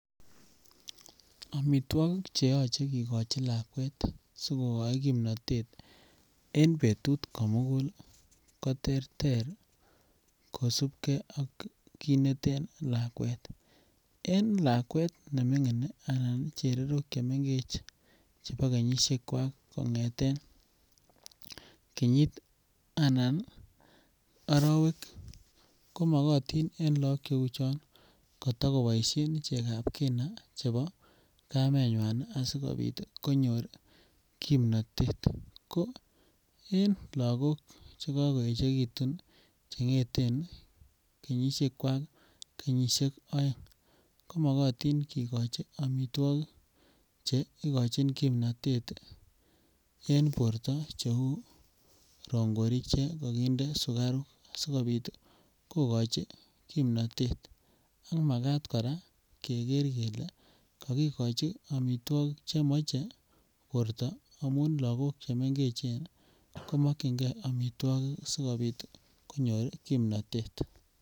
Omitwokik che yoche kigochi lakwet sigogoi kimnotet en betut komugul ko terter kosubgee ak kit neten lakwet. En lakwet nemingin anan chererok chemegech chebo kenyisiekwak kongeten kenyit anan orowek ko mogotin en look cheuu chon kotago boishen chegab kina chebo kamenywan asikopit konyor kimnotet ko en logok che kogoechegitun che ngeten kenyisiekwak kenyusiek oeng ko mogotin kigochi omitwokik che igochin kimnotet en borto che uu rongorik che kokinde sukaruk sikopit kogochi kimnotet ak makat koraa keger kelee kokigochi omitwokik che moche borto amun logok che mengechen ko mokyingee omitwokik asikopit konyor kimnotet